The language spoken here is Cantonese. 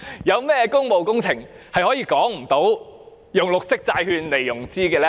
有甚麼工務工程是沒有理據採用綠色債券來融資呢？